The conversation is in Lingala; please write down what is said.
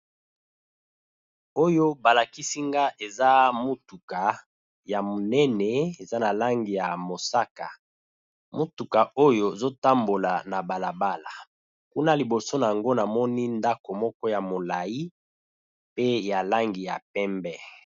Oyo ba lakisi nga eza motuka ya monene eza na langi ya mosaka, motuka oyo ezo tambola na bala bala kuna liboso nango namoni ndako moko ya molayi pe ya langi ya pembe.